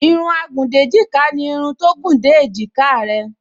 Irun agùndéjìká ni irun tó gùn dé èjìká rẹ